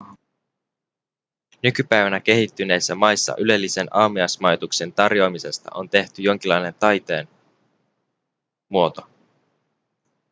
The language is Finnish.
nykypäivänä kehittyneissä maissa ylellisen aamiaismajoituksen tarjoamisesta on tehty jonkinlainen taiteenmuoto